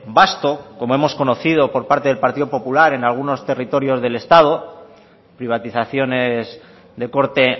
basto como hemos conocido por parte del partido popular en algunos territorios del estado privatizaciones de corte